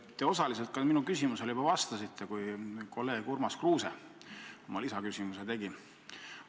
Te osaliselt minu küsimusele ka juba vastasite, kui kolleeg Urmas Kruuse oma lisaküsimuse esitas.